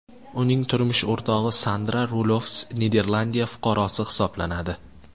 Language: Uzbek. Uning turmush o‘rtog‘i Sandra Rulofs Niderlandiya fuqarosi hisoblanadi.